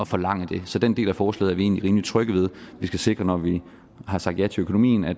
forlange det så den del af forslaget er vi egentlig rimelig trygge ved vi skal sikre når vi har sagt ja til økonomien at